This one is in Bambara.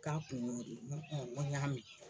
K'a kun y'o n ko n ko n y'a mɛn.